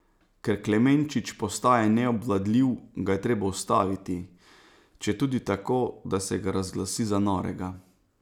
Ker Klemenčič postaja neobvladljiv, ga je treba ustaviti, četudi tako, da se ga razglasi za norega.